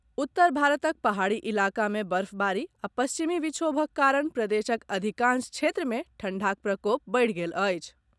उत्तर भारतक पहाड़ी इलाका मे बर्फबारी आ पश्चिमी विक्षोभक कारण प्रदेशक अधिकांश क्षेत्र मे ठंढ़ाक प्रकोप बढ़ि गेल अछि।